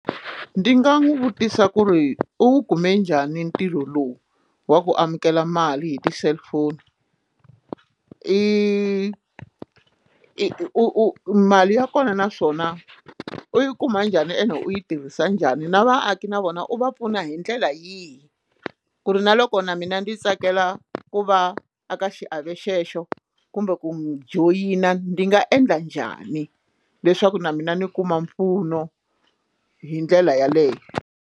Ndzi nga n'wi vutisa ku ri u kume njhani ntirho lowu wa ku amukela mali hi ti cellphone i i u u mali ya kona naswona u yi kuma njhani ene u yi tirhisa njhani na vaaki na vona u va pfuna hi ndlela yihi ku ri na loko na mina ndzi tsakela ku va aka xiave xexo kumbe ku n'wi joyina ndzi nga endla njhani leswaku na mina ni kuma mpfuno hi ndlela yeleyo.